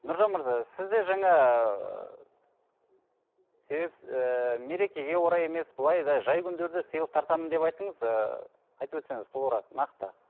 нұржан мырза сіз де жаңа ііі мерекеге орай емес былай да жай күндері де сыйлық тартамын деп айттыңыз ыыы айтып өтсеңіз толығырақ нақты